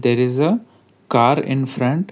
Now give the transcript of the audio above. there is a car in front--